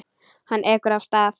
Hann ekur af stað.